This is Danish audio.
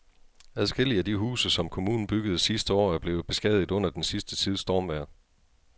Adskillige af de huse, som kommunen byggede sidste år, er blevet beskadiget under den sidste tids stormvejr.